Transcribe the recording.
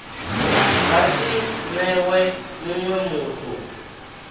nga si newe munwe muthu